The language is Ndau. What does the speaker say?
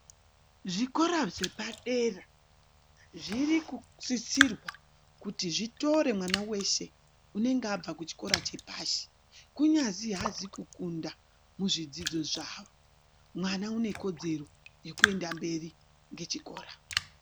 Zvikora zvepadera zviri kukurudzirwa kuti zvitore mwana weshe unenge abva kuchikora chepashi kunyazi hanzi kukunda muzvidzidzo zvawo mwana une kodzero yekuenda mberi nechikora.